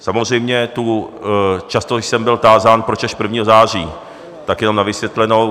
Samozřejmě tu... často jsem byl tázán, proč až 1. září, tak jenom na vysvětlenou.